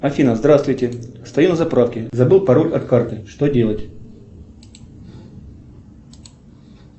афина здравствуйте стою на заправке забыл пароль от карты что делать